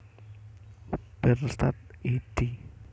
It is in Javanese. Bernstadt a d